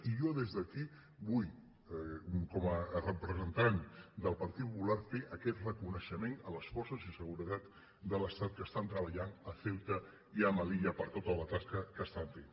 i jo des d’aquí vull com a representant del partit popular fer aquest reconeixement a les for·ces de seguretat de l’estat que estan treballant a ceu·ta i a melilla per tota la tasca que estan fent